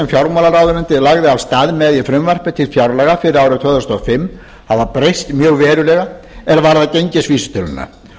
fjármálaráðuneytið lagði af stað með í frumvarpi til fjárlaga fyrir árið tvö þúsund og fimm hafa breyst verulega er varðar gengisvísitöluna